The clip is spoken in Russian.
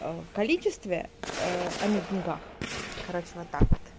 в количестве а не в деньгах короче вот так вот